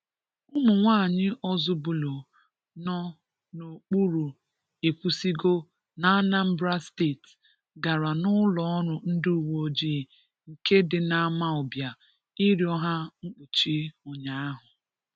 Ụmụ nwaanyị Ọzụbụlụ nọ n'okpuru Ekwusigo na Anambra steeti gara n'ụlọọrụ ndị uweojii nke dị n'Amawbia ị rịọ ha mkpuchi ụnyaahụ.